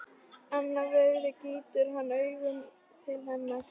Annað veifið gýtur hann augunum til hennar.